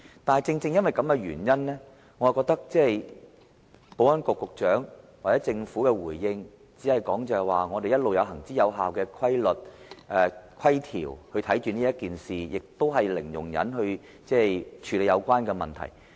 但正正因為這個原因，我覺得保安局局長或政府在回應時，不能只說他們一直有行之有效的規條監察此事，而且以零容忍態度處理有關問題。